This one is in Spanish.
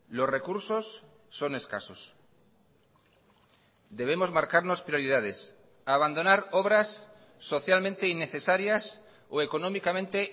los recursos son escasos debemos marcarnos prioridades abandonar obras socialmente innecesarias o económicamente